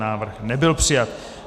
Návrh nebyl přijat.